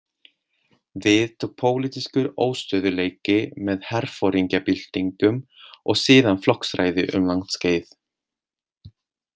Við tók pólitískur óstöðugleiki með herforingjabyltingum og síðan flokksræði um langt skeið.